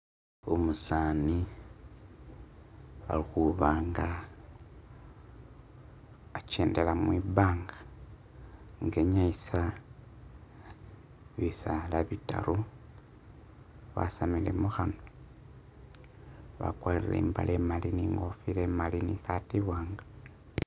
Umusaani ali khuba'nga a'chendela mwibanga nga e'nyayisa bisaala bitaaru wasamile mukhanwa wakwalire i'mbaale mali ni ngofila e'mali ni saati i'waanga